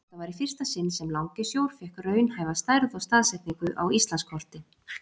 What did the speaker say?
Þetta var í fyrsta sinn sem Langisjór fékk raunhæfa stærð og staðsetningu á Íslandskorti.